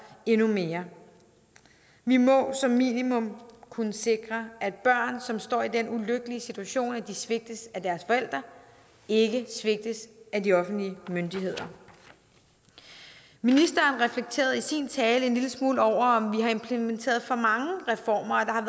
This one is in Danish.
endnu mere vi må som minimum kunne sikre at børn som står i den ulykkelige situation at de svigtes af deres forældre ikke svigtes af de offentlige myndigheder ministeren reflekterede i sin tale en lille smule over om vi har implementeret for mange reformer at